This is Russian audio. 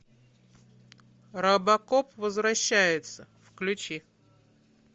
робокоп возвращается включи